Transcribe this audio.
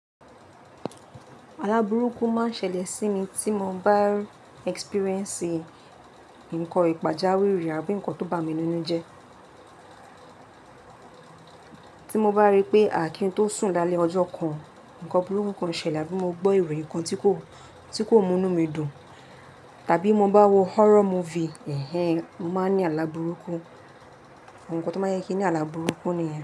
Àlá burúkú máa ń ṣẹlẹ̀ sí mi tí mo bá experience nǹkan ìpàjá wìrì àbí nǹkan tó bá mi ninú jẹ́. Tí mo bá rí pé à kín tó sùn lálẹ́ ọjọ́ kan, ǹkan burúkú kan ṣẹlẹ̀, abí mo gbọ́ ìròyìn kan tí kò, tí kò múnú mi dùn, tàbí mo bá wo horror movie, ẹhen, mo máa ní àlá burúkú. Àwọn nǹkan tó máa ń yẹ kí ní àlá burúkú nìyen.